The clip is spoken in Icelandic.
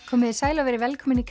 komiði sæl og verið velkomin í